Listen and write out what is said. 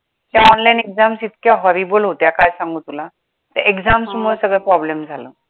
त्या online exam इतक्या horrible होत्या, काय सांगू तुला त्या exams मूळे सगळा problem झाला.